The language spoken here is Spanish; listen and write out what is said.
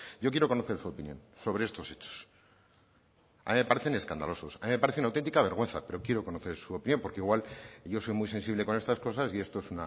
yo quiero conocer su opinión sobre estos hechos a mí me parecen escandalosos a mí me parecen una auténtica vergüenza pero quiero conocer su opinión porque igual yo soy muy sensible con estas cosas y esto es